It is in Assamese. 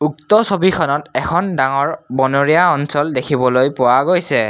উক্ত ছবিখনত এখন ডাঙৰ বনৰীয়া অঞ্চল দেখিবলৈ পোৱা গৈছে।